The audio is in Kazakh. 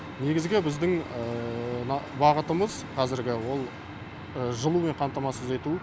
негізгі біздің бағытымыз қазіргі ол жылумен қамтамасыз ету